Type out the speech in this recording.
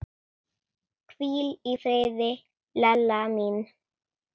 Hvíl í friði, Lella mín.